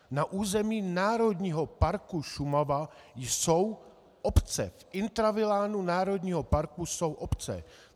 Na území Národního parku Šumava jsou obce, v intravilánu národního parku jsou obce.